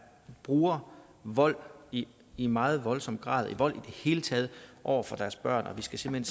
bruger vold i i meget voldsom grad vold i det hele taget over for deres børn og vi skal simpelt